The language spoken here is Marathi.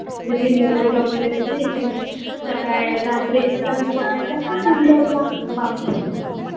tiffin वगैरे करून देते ना इथे सकाळी रात्री येतात आणि सकाळी जातात इंदोरला